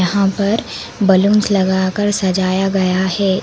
हां पर बलूंस लगाकर सजाया गया है।